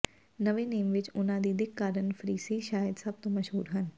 ਨਵੇਂ ਨੇਮ ਵਿਚ ਉਨ੍ਹਾਂ ਦੀ ਦਿੱਖ ਕਾਰਨ ਫਰੀਸੀ ਸ਼ਾਇਦ ਸਭ ਤੋਂ ਮਸ਼ਹੂਰ ਹਨ